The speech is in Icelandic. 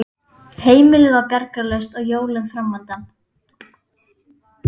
Heimilið var bjargarlaust og jólin framundan.